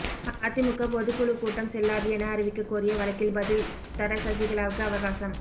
அதிமுக பொதுக்குழு கூட்டம் செல்லாது என அறிவிக்க கோரிய வழக்கில் பதில் தர சசிகலாவுக்கு அவகாசம்